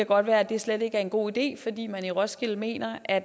godt være at det slet ikke er en god idé fordi man i roskilde mener at